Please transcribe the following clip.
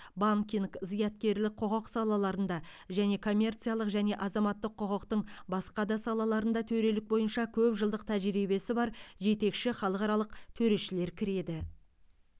банкинг зияткерлік құқық салаларында және коммерциялық және азаматтық құқықтың басқа да салаларында төрелік бойынша көп жылдық тәжірибесі бар жетекші халықаралық төрешілер кіреді